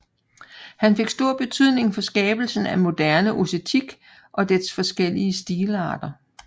Han fik stor betydning på skabelsen af moderne ossetisk og dets forskellige stilarter